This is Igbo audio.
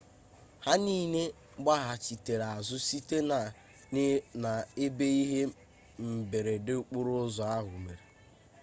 ha niile gbaghachitere azụ site na ebe ihe mberede okporo ụzọ ahụ mere